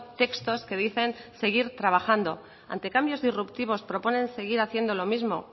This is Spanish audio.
textos que dicen seguir trabajando ante cambios disruptivos proponen seguir haciendo lo mismo